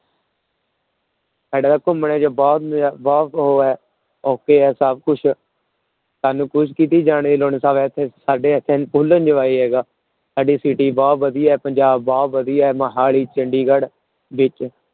ਘੁੰਮਣ ਚ ਬਹੁਤ ਨਜ਼ਾ ਬਹੁਤ ਉਹ ਹੈ okay ਹੈ ਸਭ ਕੁਛ, ਸਾਨੂੰ ਕੁਛ ਕਿਤੇ ਜਾਣ ਦੀ ਲੋੜ ਨੀ, ਸਭ ਇੱਥੇ ਸਾਡੇ ਇੱਥੇ full enjoy ਹੈਗਾ, ਸਾਡੀ city ਬਹੁਤ ਵਧੀਆ ਹੈ ਪੰਜਾਬ ਬਹੁਤ ਵਧੀਆ ਹੈ ਮੁਹਾਲੀ, ਚੰਡੀਗੜ੍ਹ ਵਿੱਚ।